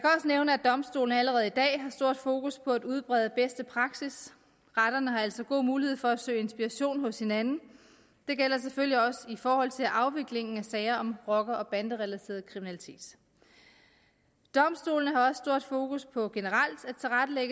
nævne at domstolene allerede i dag har stort fokus på at udbrede bedste praksis retterne har altså god mulighed for at søge inspiration hos hinanden det gælder selvfølgelig også i forhold til afviklingen af sager om rocker og banderelateret kriminalitet domstolene har også stort fokus på generelt